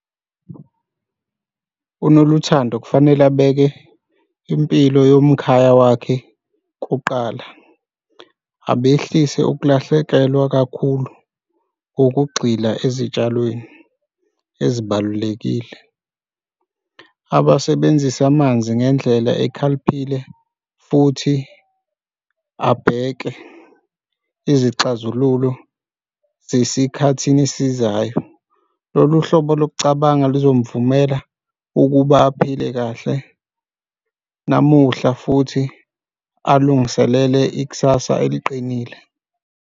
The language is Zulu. UNoluthando kufanele abeke impilo yomkhaya wakhe kuqala abehlise ukulahlekelwa kakhulu ngokugxila ezitshalweni ezibalulekile. Abasebenzisa amanzi ngendlela ekhaliphile futhi abheke izixazululo zesikhathini esizayo. Lolu hlobo lokucabanga lozomvumela ukuba aphile kahle namuhla futhi alungiselele ikusasa eliqinile.